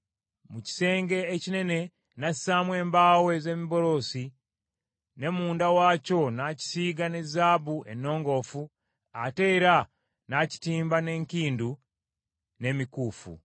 Mu kisenge ekinene n’assaamu embaawo ez’emiberosi, ne munda waakyo n’akisiiga ne zaabu ennongoofu, ate era n’akitimba n’enkindu n’emikuufu.